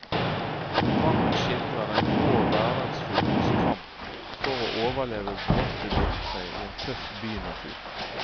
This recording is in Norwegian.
Programmet skildrer den grå hverdagsfuglens kamp for å overleve våte vintre i en tøff bynatur.